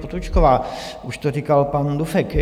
Potůčková, už to říkal pan Dufek.